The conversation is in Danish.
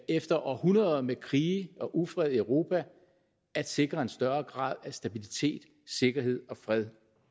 efter århundreder med krige og ufred i europa at sikre en større grad af stabilitet sikkerhed og fred